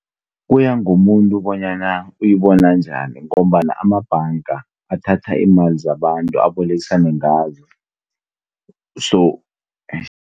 Kuyangomuntu bonyana uyibona njani ngombana amabhanga athatha iimali zabantu abolekisane ngazo .